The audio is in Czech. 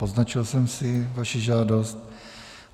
Poznačil jsem si vaši žádost.